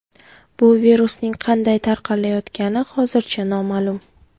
Bu virusning qanday tarqalayotgani hozircha noma’lum.